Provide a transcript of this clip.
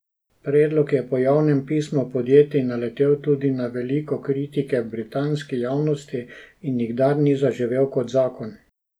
Predlog je po javnem pismu podjetij naletel tudi na veliko kritike v britanski javnosti in nikdar ni zaživel kot zakon.